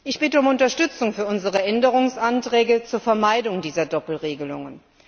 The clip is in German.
Ich bitte um Unterstützung für unsere Änderungsanträge zur Vermeidung dieser Doppelregelungen.